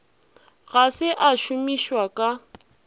ga se a šomišwa ka